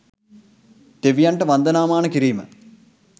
දෙවියන්ට වන්දනාමාන කිරීම